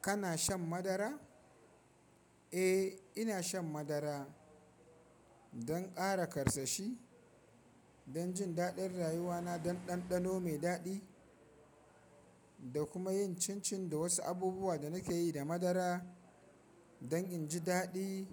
Kana shan madara? Eh, ina shan madara don ƙara karsashi, don jin daɗin rayuwana, don ɗanɗano mai daɗi da kuma yin cincin da wasu abubuwa da na ke yi da madara don in ji daɗi,